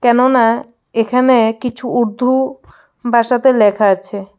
কেননা এখানে কিছু উর্দু ভাষাতে লেখা আছে.